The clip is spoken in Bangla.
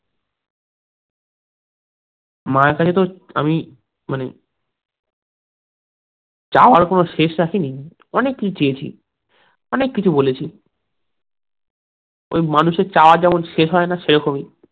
মায়ের কাছে তো আমি, মানে চাওয়ার কোনো শেষ রাখিনি, অনেক কিছু চেয়েছি, অনেক কিছু বলেছি ওই মানুষের চাওয়ার যেমন শেষ হয়না, সেরকম ই